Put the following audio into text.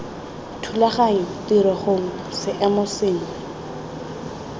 thulaganyo tiro gongwe seemo sengwe